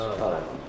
Sağ olun, var olun.